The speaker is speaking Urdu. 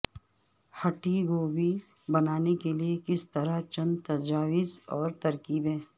ھٹی گوبھی بنانے کے لئے کس طرح چند تجاویز اور ترکیبیں